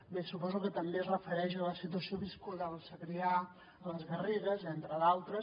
bé suposo que també es refereix a la situació viscuda al segrià a les garrigues entre d’altres